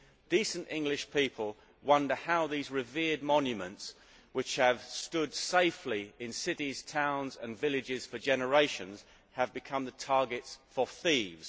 Decent English people wonder how these revered monuments which have stood safely in cities, towns and villages for generations have become the targets for thieves.